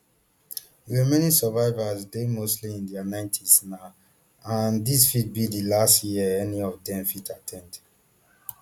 di remaining survivors dey mostly in dia ninetys now and dis fit be di last year any of dem fit at ten d